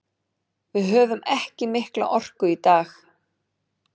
Við höfðum ekki mikla orku í dag.